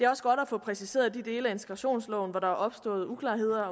også godt at få præciseret de dele af integrationsloven hvor der er opstået uklarheder